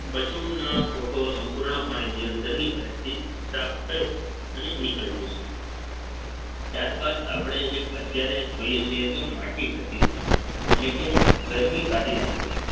પશુના ખોઠો સંપૂર્ણપણે જે અંદરની side થી સાફ થઈ અને નીકળી જશે ત્યારબાદ આપણે એક અત્યારે જોઈએ છે એટલે માટી ખસી જવી એટલે કે ગરમી કાઢી નાખવી